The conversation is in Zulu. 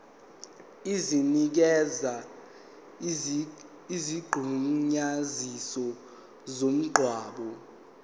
esinikeza isigunyaziso somngcwabo